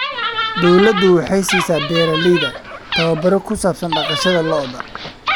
Dawladdu waxay siisaa beeralayda tababaro ku saabsan dhaqashada lo'da.